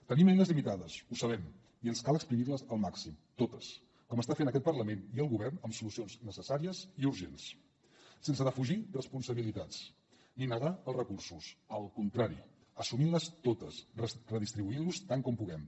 tenim eines limitades ho sabem i ens cal exprimir les al màxim totes com estan fent aquest parlament i el govern amb solucions necessàries i urgents sense defugir responsabilitats ni negar els recursos al contrari assumint les totes redistribuint los tant com puguem